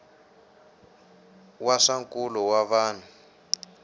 wa swa nkulo wa vanhu